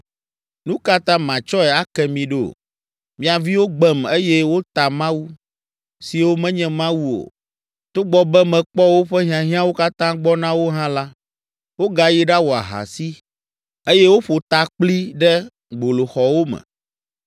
“Nu ka ta matsɔe ake mi ɖo? Mia viwo gbem, eye wota mawu siwo menye mawu o togbɔ be mekpɔ woƒe hiahiãwo katã gbɔ na wo hã la, wogayi ɖawɔ ahasi, eye woƒo ta kpli ɖe gboloxɔwo me.